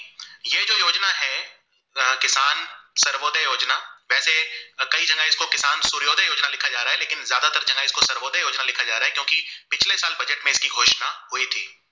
सर्वोदय योजना लिखा जा रहा है क्योंकि पिछले साल budget में इसकी घोषणा हुई थी